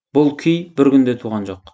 бұл күй бір күнде туған жоқ